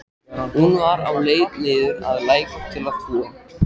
Hún var á leið niður að læk til að þvo.